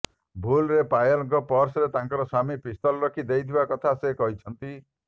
ଭୁଲ୍ରେ ପାୟଲଙ୍କ ପର୍ସରେ ତାଙ୍କ ସ୍ବାମୀ ପିସ୍ତଲ ରଖି ଦେଇଥିବା କଥା ସେ କହିଛନ୍ତି